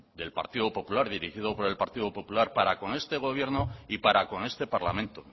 del partido popular dirigido por el partido popular para con este gobierno y para con este parlamento